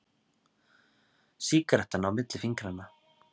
Sígarettan á milli fingranna.